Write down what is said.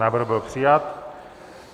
Návrh byl přijat.